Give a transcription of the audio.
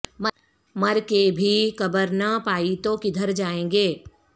مر کے بھی قبر نہ پائی تو کدھر جائیں گے